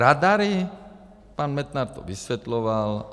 Radary - pan Metnar to vysvětloval.